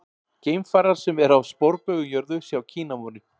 Geimfarar sem eru á sporbaug um jörðu sjá Kínamúrinn.